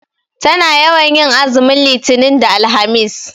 Tana yawan tin azumin litinin da alhamis